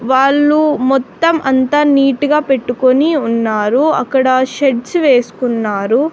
వాళ్ళు మొత్తం అంతా నీట్ గా పెట్టుకొని ఉన్నారు అక్కడ షెడ్స్ వేస్కున్నారు.